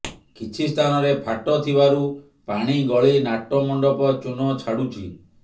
କିଛି ସ୍ଥାନରେ ଫାଟ ଥିବାରୁ ପାଣି ଗଳି ନାଟ ମଣ୍ଡପ ଚୂନ ଛାଡ଼ୁଛି